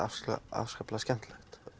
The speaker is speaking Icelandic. afskaplega skemmtilegt